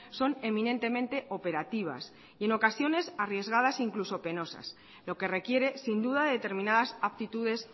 son eminentemente operativas y en ocasiones arriesgadas e incluso penosas lo que requiere sin duda determinadas aptitudes